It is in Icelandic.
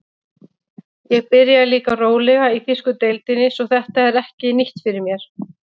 Ég byrjaði líka rólega í þýsku deildinni svo þetta er ekki nýtt fyrir mér.